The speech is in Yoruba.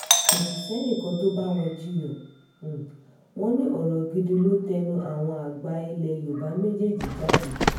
kò sì sẹ́nìkan tó bá wọn jiyàn wọn ní ọ̀rọ̀ gidi ló tẹnu àwọn àgbà ilẹ̀ yorùbá méjèèjì jáde